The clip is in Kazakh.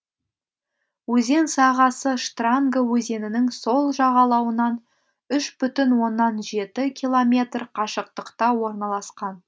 өзен сағасы штранга өзенінің сол жағалауынан үш бүтін оннан жеті километр қашықтықта орналасқан